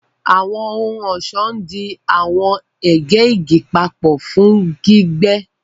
Àwọn ohun-ọṣọ ndí àwọn ègè igi papọ fún gbígbẹ.